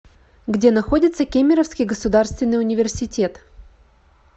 где находится кемеровский государственный университет